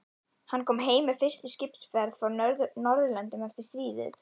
Hann kom heim með fyrstu skipsferð frá Norðurlöndum eftir stríðið.